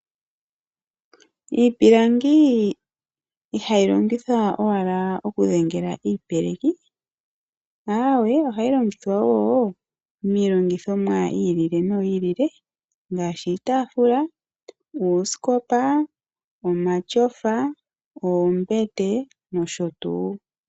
IIpilangi ihayi longithwa owala okudhengela iipeleki ashike ohayi longithwa wo miilongithomwa ya yooloka ngaashi iitafula, uusikopa, omatyofa, oombete nosho tuu.